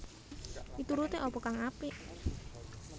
Mituruté apa kang apik